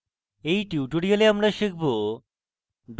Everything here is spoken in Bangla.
in tutorial আমরা শিখব: